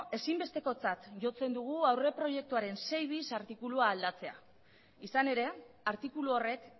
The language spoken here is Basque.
ezin bestekotzat jotzen dugu aurreproiektuaren sei puntu bi artikulua aldatzea izan ere artikulu horrek